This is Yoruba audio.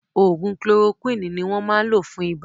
Ògùn kolorokúwìnì ni wọ́n máa ń lò fún ibà